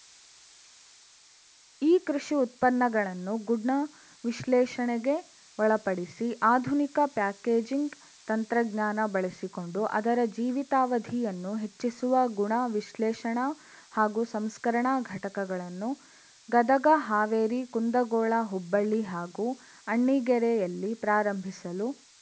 ಈ ಕೃಷಿ ಉತ್ಪನ್ನಗಳನ್ನು ಗುಣ ವಿಶ್ಲೇಷಣೆಗೆ ಒಳಪಡಿಸಿ ಆಧುನಿಕ ಪ್ಯಾಕೇಜಿಂಗ್‌ ತಂತ್ರಜ್ಞಾನ ಬಳಸಿಕೊಂಡು ಅದರ ಜೀವಿತಾವಧಿಯನ್ನು ಹೆಚ್ಚಿಸುವ ಗುಣ ವಿಶ್ಲೇಷಣಾ ಹಾಗೂ ಸಂಸ್ಕರಣಾ ಘಟಕಗಳನ್ನು ಗದಗ ಹಾವೇರಿ ಕುಂದಗೋಳ ಹುಬ್ಬಳ್ಳಿ ಹಾಗೂ ಅಣ್ಣಿಗೇರಿಯಲ್ಲಿ ಪ್ರಾರಂಭಿಸಲು